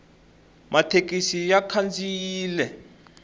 mathekisi ya khandziyile